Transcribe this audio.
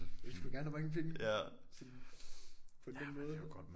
Hvis du gerne vil have mange penge sådan på en nem måde